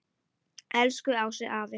Elsku Ási afi.